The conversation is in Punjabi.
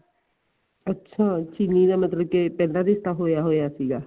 ਅੱਛਾ ਚਿਲੀ ਦਾ ਮਤਲਬ ਕੀ ਪਹਿਲਾਂ ਰਿਸ਼ਤਾ ਹੋਇਆ ਹੋਇਆ ਸੀਗਾ